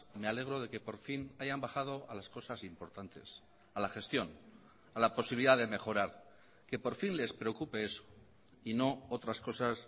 me alegro de que por fin hayan bajado a las cosas importantes a la gestión a la posibilidad de mejorar que por fin les preocupe eso y no otras cosas